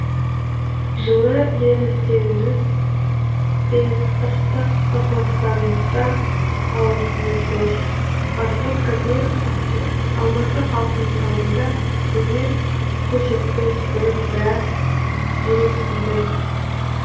жылы лебіздеріңіз бен ыстық ықыластарыңызға алғысымыз зор артур кабиров актер алматы халқының алдында өнер көрсетпес бұрын біраз жүрексіндім